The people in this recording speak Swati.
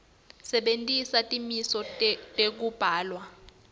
sebentisa timiso tekubhalwa